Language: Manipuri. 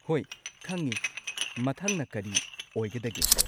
ꯍꯣꯏ ꯈꯪꯉꯤ꯫ ꯃꯊꯪꯅ ꯀꯔꯤ ꯑꯣꯏꯒꯗꯒꯦ?